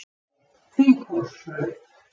Þinghólsbraut